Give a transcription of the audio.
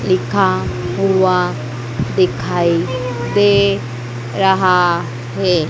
लिखा हुआ दिखाई दे रहा है।